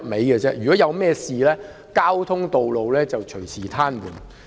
如果發生甚麼事情，道路交通便隨時癱瘓。